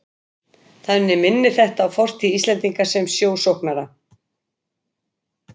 Þannig minnir þetta á fortíð Íslendinga sem sjósóknara.